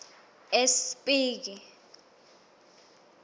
espiki